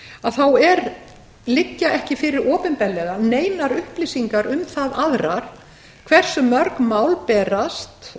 að þá liggja ekki fyrir opinberlega neinar upplýsingar um það aðrar hversu mörg mál berast